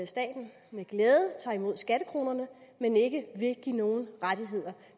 staten med glæde tager imod skattekronerne men ikke vil give nogen rettigheder